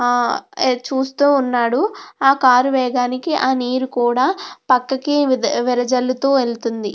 చూస్తూ ఉన్నాడు. ఆ కారు వేగానికి ఆ నీరు కూడా పక్కకి వేదజల్లుతూ వెళ్తుంది.